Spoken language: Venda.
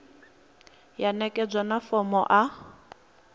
ya ṋekedzwa na fomo a